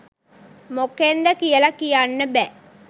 මොකෙන්ද කියල කියන්න බෑ.